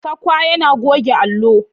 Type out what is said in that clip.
Sakwak yana goge allo.